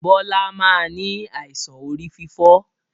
Bọlá máa ni àìsàn orí fífọ́